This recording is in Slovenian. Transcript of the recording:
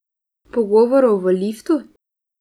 Pogovorov v liftu?